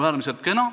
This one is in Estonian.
Äärmiselt kena.